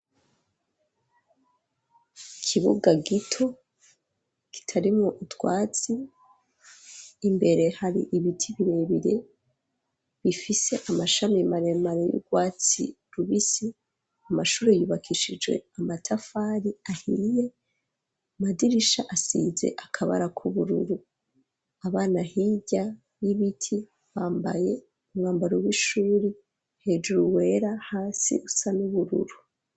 Ikibuga gito kitarimwo utwatsi imbere hari ibiti birebire bifise amashami maremara y'urwatsi rubisi amashuri yubakishijwe amatafari ahiye amadirisha asize akabara k'ubururu abana hirya y'ibiti bambaye umwambaro w'ishuri hejuru wera hasi usa n'ubururu.